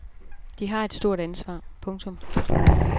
De har et stort ansvar. punktum